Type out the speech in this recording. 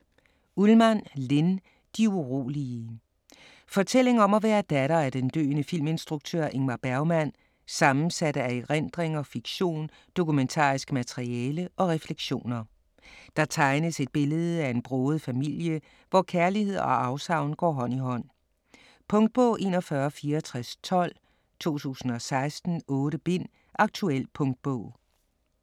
Ullmann, Linn: De urolige Fortælling om at være datter af den døende filminstruktør Ingmar Bergmann, sammensat af erindringer, fiktion, dokumentarisk materiale og refleksioner. Der tegnes et billede af en broget familie, hvor kærlighed og afsavn går hånd i hånd. Punktbog 416412 2016. 8 bind. Aktuel punktbog